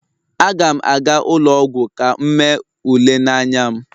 Aga m aga ụlọ ọgwụ ka m mee ule n'anya m